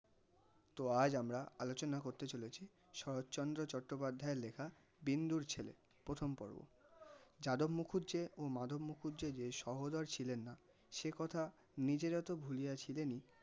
তো আজ আমরা আলোচনা করতে চলেছি শরৎচন্দ্র চট্টোপাধ্যায় এর লেখা বিন্দুর ছেলে প্রথম পর্ব. যাদব মুখুজ্যে ও মাধব মুখুজ্যে যে সহদর ছিলেন না সেকথা নিজেরা তো ভুলিয়া ছিলেনই